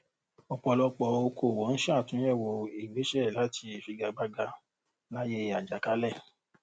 ọ̀pọ̀lọpọ̀ òkòòwò n ṣàtúnyẹ̀wò ìgbéṣẹ̀ láti figagbága láyé àjàkálẹ̀.